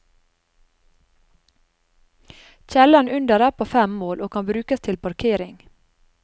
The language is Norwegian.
Kjelleren under er på fem mål, og kan brukes til parkering.